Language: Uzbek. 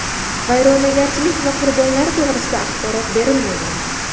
Vayronagarchilik va qurbonlar to‘g‘risida axborot berilmagan.